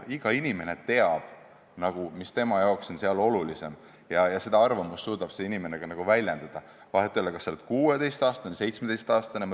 Iga inimene teab, mis tema jaoks on olulisem, ja seda arvamust suudetakse ka väljendada – vahet ei ole, kas sa oled 16-aastane või 17-aastane.